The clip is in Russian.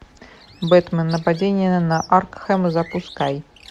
бэтмен нападение на аркхэм запускай